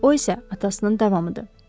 O isə atasının davamıdır.